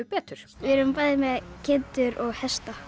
betur við erum bæði með kindur og hesta